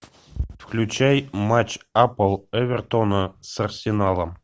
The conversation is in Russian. включай матч апл эвертона с арсеналом